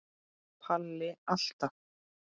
Palli alltaf.